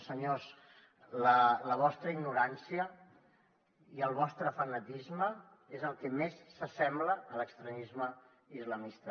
senyors la vostra ignorància i el vostre fanatisme són el que més s’assembla a l’extremisme islamista